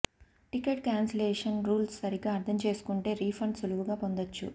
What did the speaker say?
ticket cancellation rules సరిగ్గా అర్థం చేసుకుంటే రీఫండ్ సులువుగా పొందొచ్చు